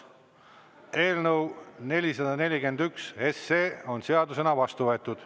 Eelnõu 441 on seadusena vastu võetud.